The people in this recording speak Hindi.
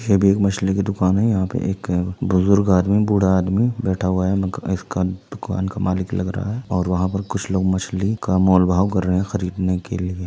ये भी एक मछली की दुकान है यहाँ पर एक बुजुर्ग आदमी बूढ़ा आदमी बैठा हुआ है इसका दुकान का मालिक लग रहा है और वहाँ पर कुछ लोग मछली का मोल भाव कर रहे हैं खरीदने के लिए।